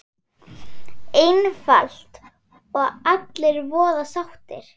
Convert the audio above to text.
Einfalt og allir voða sáttir!